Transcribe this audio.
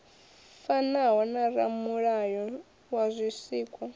fanaho na ramulayo wa zwisikwa